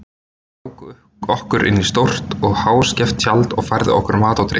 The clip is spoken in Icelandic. Þeir ráku okkur inn í stórt og háskeft tjald og færðu okkur mat og drykk.